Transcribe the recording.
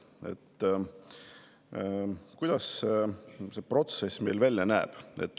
Kuidas see protsess välja näeb?